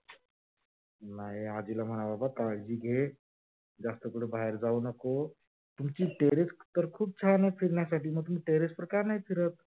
नाही आजीला म्हनाव काळजी घे, जास्त कुठ बाहेर जाऊ नको, तुमची terrace तर छान आहे फिरायसाठी म तुम्ही terrace वर का नाही फिरत?